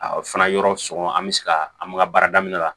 A fana yɔrɔ sɔngɔ an bɛ se ka an ka baara daminɛ la